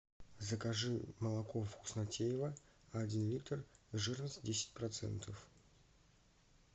закажи молоко вкуснотеево один литр жирность десять процентов